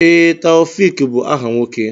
Ee, Taofiq bụ áhà nwoke.